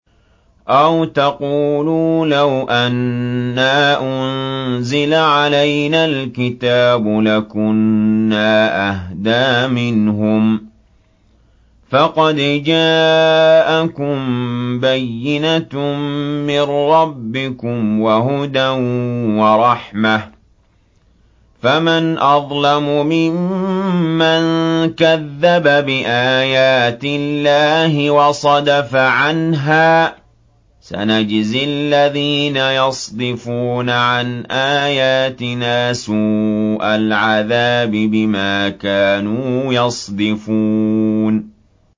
أَوْ تَقُولُوا لَوْ أَنَّا أُنزِلَ عَلَيْنَا الْكِتَابُ لَكُنَّا أَهْدَىٰ مِنْهُمْ ۚ فَقَدْ جَاءَكُم بَيِّنَةٌ مِّن رَّبِّكُمْ وَهُدًى وَرَحْمَةٌ ۚ فَمَنْ أَظْلَمُ مِمَّن كَذَّبَ بِآيَاتِ اللَّهِ وَصَدَفَ عَنْهَا ۗ سَنَجْزِي الَّذِينَ يَصْدِفُونَ عَنْ آيَاتِنَا سُوءَ الْعَذَابِ بِمَا كَانُوا يَصْدِفُونَ